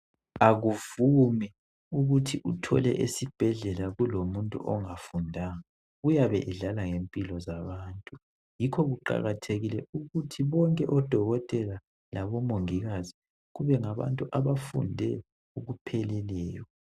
Akuvumi ukuthi uthole esibhedlela kulomuntu ongafundanga uyabe edlala ngempilo zabantu yikho kuqakathekile ukuthi bonke odokotela labomongikazi kube ngabantu abafunde okupheleleyo